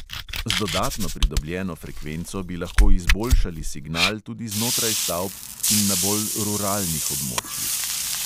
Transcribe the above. Z dodatno pridobljeno frekvenco bi lahko izboljšali signal tudi znotraj stavb in na bolj ruralnih območjih.